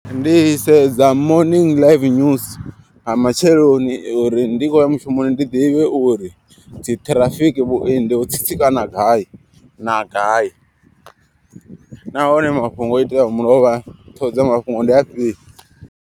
Ndi sedza morning live news nga matsheloni uri ndi khoya mushumoni ndi ḓivhe uri dzi ṱhirafiki vhuendi ho tsitsikana gai na gai. Nahone mafhungo o iteaho mulovha ṱhoho dza mafhungo ndi afhio.